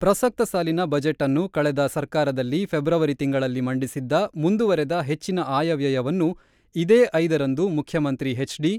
ಪ್ರಸಕ್ತ ಸಾಲಿನ ಬಜೆಟ್‌ನ್ನು ಕಳೆದ ಸರ್ಕಾರದಲ್ಲಿ ಫೆಬ್ರವರಿ ತಿಂಗಳಲ್ಲಿ ಮಂಡಿಸಿದ್ದ ಮುಂದುವರೆದ ಹೆಚ್ಚಿನ ಆಯವ್ಯಯವನ್ನು ಇದೇ ಐದ ರಂದು ಮುಖ್ಯಮಂತ್ರಿ ಎಚ್.ಡಿ.